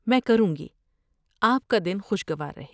میں کروں گی۔ آپ کا دن خوشگوار رہے۔